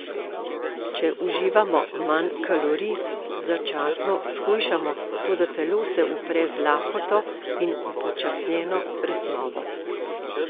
Če uživamo manj kalorij, začasno shujšamo, toda telo se upre z lakoto in upočasnjeno presnovo.